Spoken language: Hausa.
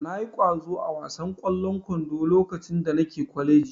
Na yi ƙwazo a wasan ƙwallon kwando lokacin da nake kwaleji